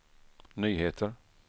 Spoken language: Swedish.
nyheter